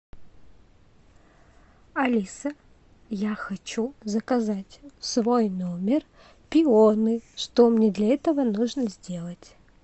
алиса я хочу заказать в свой номер пионы что мне для этого нужно сделать